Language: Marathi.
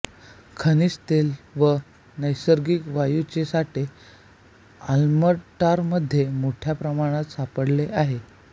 खनिज तेल व नैसर्गिक वायूचे साठे आल्बर्टामध्ये मोठ्या प्रमाणात सापडले आहेत